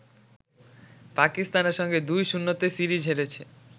পাকিস্তানের সঙ্গে ২-০ তে সিরিজ হেরেছে